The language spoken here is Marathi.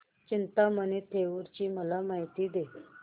चिंतामणी थेऊर ची मला माहिती दे